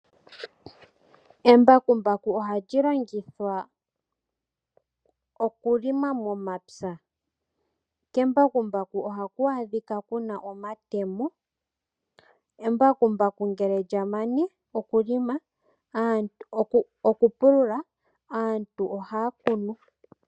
Embakumbaku ohali longithwa okilma momapya. Kembakumbaku ohaku adhika ku na omatemo. Embakumbaku ngele lya mana okupulula aantu ohaya kunu.